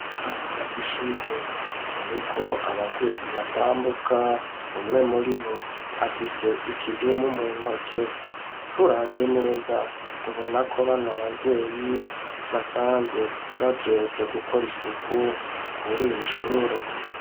Urubaraza rw'ishure ruriko abavyeyi batambuka, umwe muribo afise ikidumu mu ntoke, turavye neza tubona ko bano bavyeyi basanzwe bajejwe gukora isuku kuri iri shure.